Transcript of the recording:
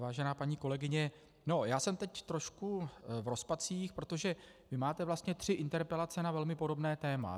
Vážená paní kolegyně, já jsem teď trošku v rozpacích, protože vy máte vlastně tři interpelace na velmi podobné téma.